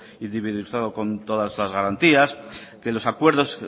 con todas las garantías que los acuerdos